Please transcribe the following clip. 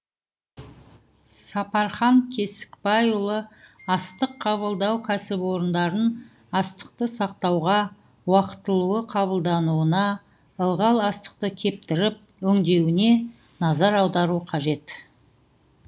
сапархан кесікбайұлы астық қабылдау кәсіпорындарын астықты сақтауға уақытылы қабылдауына ылғал астықты кептіріп өңдеуіне назар аудару қажет